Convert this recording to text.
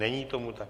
Není tomu tak.